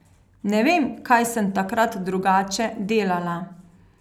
Ne vem, kaj sem takrat drugače delala.